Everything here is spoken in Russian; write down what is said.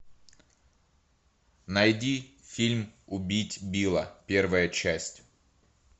найди фильм убить билла первая часть